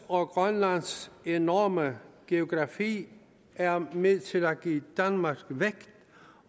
og grønlands enorme geografi er med til at give danmark vægt